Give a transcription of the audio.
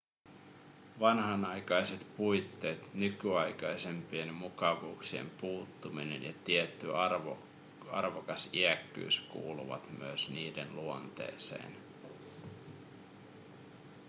vanhanaikaiset puitteet nykyaikaisimpien mukavuuksien puuttuminen ja tietty arvokas iäkkyys kuuluvat myös niiden luonteeseen